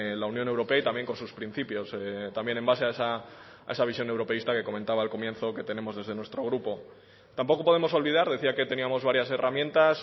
la unión europea y también con sus principios también en base a esa visión europeísta que comentaba al comienzo que tenemos desde nuestro grupo tampoco podemos olvidar decía que teníamos varias herramientas